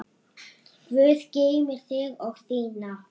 Guð geymi þig og þína.